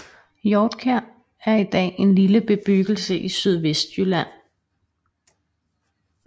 Hjortkjær er i dag en lille bebyggelse i Sydvestjylland